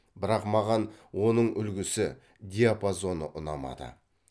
бірақ маған оның үлгісі диапазоны ұнамады